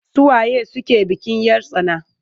Su waye suke bikin 'yar tsana?